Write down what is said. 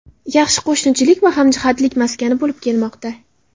yaxshi qo‘shnichilik va hamjihatlik maskani bo‘lib kelmoqda.